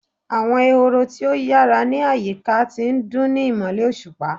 Awọn ehoro ti o yara ni ayika ti ndun ni imọlẹ oṣupa